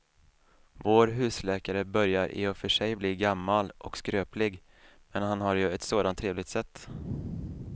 Vår husläkare börjar i och för sig bli gammal och skröplig, men han har ju ett sådant trevligt sätt!